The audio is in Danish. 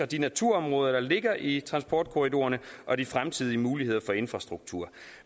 de naturområder der ligger i transportkorridorerne og de fremtidige muligheder for infrastruktur